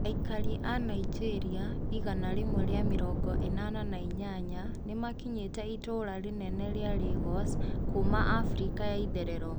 Aikari aa Nigeria igana rĩmwe na mĩrongo enana na inyanya nimakinyete itura rinene ria Lagos kuuma Afrika ya itherero.